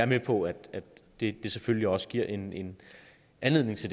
med på at det selvfølgelig også giver en en anledning til